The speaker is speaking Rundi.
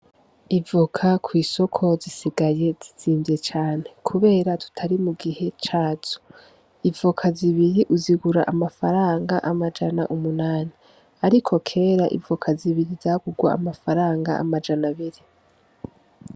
Ivoka kw'isoko zisigaye zizinvye cane kubera tutari mu gihe cazo, ivoka zibiri uzigura amafaranga amajana umunani ariko kera ivoka zibiri zagurwa amafaranga amajana abiri.